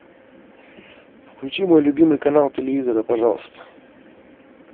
включи мой любимый канал телевизора пожалуйста